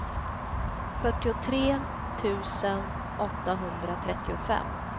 fyrtiotre tusen åttahundratrettiofem